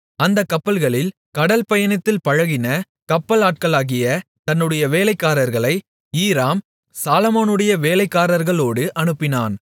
அந்தக் கப்பல்களில் கடல் பயணத்தில் பழகின கப்பலாட்களாகிய தன்னுடைய வேலைக்காரர்களை ஈராம் சாலொமோனுடைய வேலைக்காரர்களோடு அனுப்பினான்